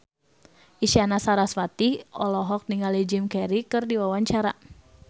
Isyana Sarasvati olohok ningali Jim Carey keur diwawancara